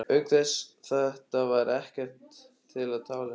Auk þess, þetta var ekkert til að tala um.